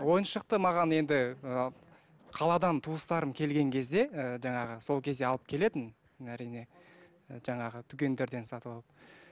ойыншықты маған енді і қаладан туыстарым келген кезде ііі жаңағы сол кезде алып келетін әрине і жаңағы дүкендерден сатып алып